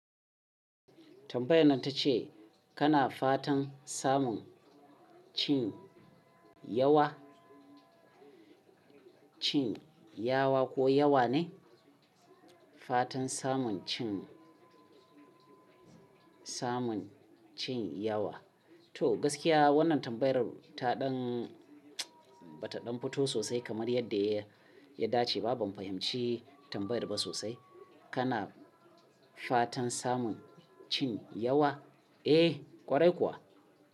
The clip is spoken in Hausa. Tambayar nan ta ce kana fatan samun cin yawa, cin yawa ko yawa ne? Fatan samun cin samun cin yawa. To gaskiya wannan tambayar ta ɗan bata ɗan fito sosai kamar yadda ya dace. Ba ban fahimci tambayar ba sosai. Kana fatan samun cin yawa? Eh kwarai kuwa.